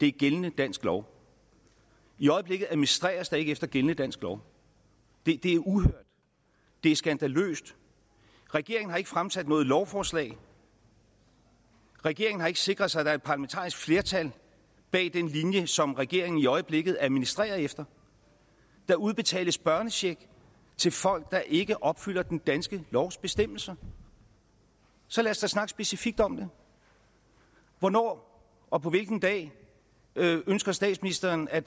er gældende dansk lov i øjeblikket administreres der ikke efter gældende dansk lov det det er uhørt det er skandaløst regeringen har ikke fremsat noget lovforslag regeringen har ikke sikret sig at der er parlamentarisk flertal bag den linje som regeringen i øjeblikket administrerer efter der udbetales børnecheck til folk der ikke opfylder den danske lovs bestemmelser så lad os da snakke specifikt om det hvornår og på hvilken dag ønsker statsministeren at